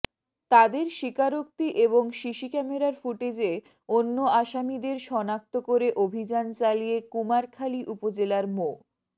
তাদের স্বীকারোক্তি এবং সিসি ক্যামেরার ফুটেজে অন্য আসামিদের শনাক্ত করে অভিযান চালিয়ে কুমারখালী উপজেলার মো